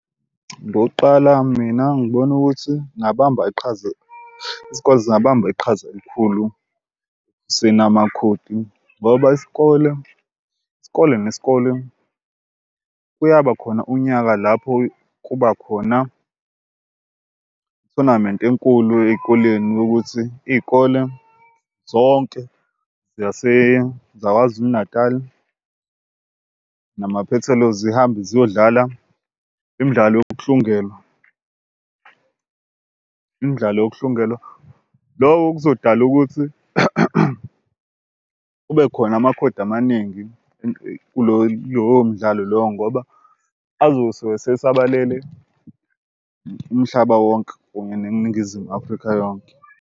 Ngokuqala, mina ngibona ukuthi ngingabamba iqhaza isikole singabamba iqhaza elikhulu ngoba isikole isikole nesikole kuyabakhona unyaka lapho kuba khona ithonamenti enkulu ey'koleni yokuthi iy'kole zonke zaKwaZulu Natal namaphethelo zihambe ziyodlala imidlalo yokuhlungelwa imidlalo wokuhlungelwa. Lokho kuzodala ukuthi kube khona amakhodi amaningi kulowo lowo mdlalo loyo ngoba azosuka esesabalele umhlaba wonke neNingizimu Afrika yonke.